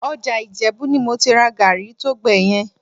Ọjà Ìjẹ̀bú ni mo ti ra gàárì tó gbẹ yẹn